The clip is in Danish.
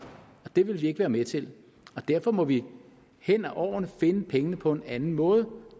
det vil vi ikke være med til og derfor må vi hen over årene finde pengene på en anden måde